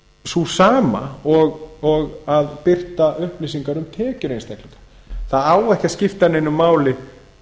sú sama og að birta upplýsingar um tekjur einstaklinga það á ekki að skipta neinu máli